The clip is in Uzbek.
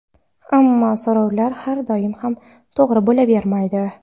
Ammo so‘rovlar har doim ham to‘g‘ri bo‘lavermaydi.